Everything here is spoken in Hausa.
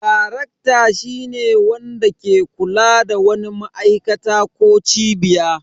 Darekta shine wanda ke kula da wani ma'aikata ko cibiya.